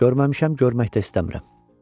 Görməmişəm, görmək də istəmirəm.